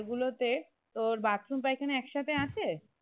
ওই ঘর গুলোতে তোর bathroom পায়খানা এক সাথে আছে?